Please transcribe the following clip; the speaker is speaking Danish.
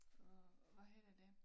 Hvad hedder det